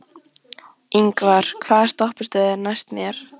Ingvar, hvaða stoppistöð er næst mér?